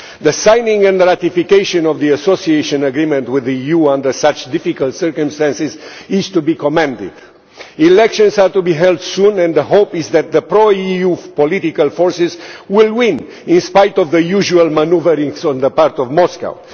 The signing and ratification of the Association Agreement with the EU under such difficult circumstances is to be commended. Elections are to be held soon and the hope is that the pro EU political forces will win, in spite of the usual manoeuvrings on the part of Moscow.